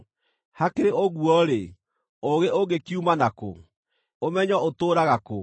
“Hakĩrĩ ũguo-rĩ, ũũgĩ ũngĩkiuma nakũ? Ũmenyo ũtũũraga kũ?